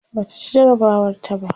Bata ci jarabawar ta ba